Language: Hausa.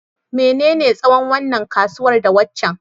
menene tsawon wannan ƙusar da waccan?